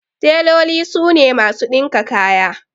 Teloli su ne masu ɗinka kaya.